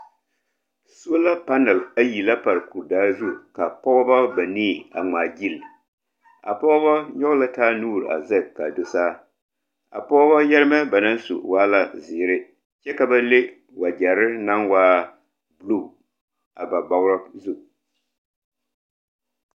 Sola palɛle ayi la pare kurdaare zu ka pɔgeba banii a ŋmaa gyili. A pɔgeba nyɔge la taa nuuri a zege ka do saa. A pɔgeba yɛremɛ ba naŋ su waa la zeere kyɛ ka bale wagyɛre naŋ waa buluu a ba bɔgere zuŋ.